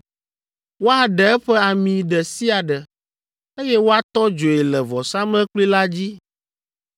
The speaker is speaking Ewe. Woaɖe eƒe ami ɖe sia ɖe, eye woatɔ dzoe le vɔsamlekpui la dzi.